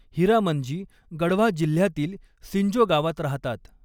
हीरामन जी, गढ़वा जिल्ह्यातील सिंजो गावात राहतात.